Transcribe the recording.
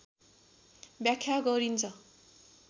व्याख्या गरिन्छ